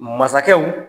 Masakɛw